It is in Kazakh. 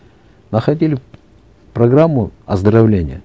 находили программу оздоровления